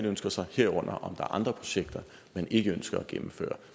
ønsker sig herunder om der er andre projekter man ikke ønsker at gennemføre og